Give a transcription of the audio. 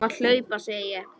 Þú mátt hlaupa, segi ég.